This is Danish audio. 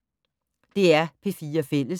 DR P4 Fælles